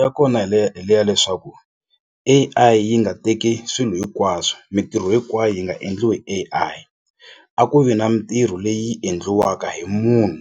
ya kona hi le hi le ya leswaku A_I yi nga teki swilo hinkwaswo mintirho hinkwayo yi nga endliwi A_I a ku vi na mitirho leyi endliwaka hi munhu